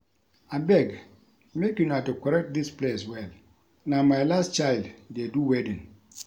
Abeg make una decorate dis place well na my last child dey do wedding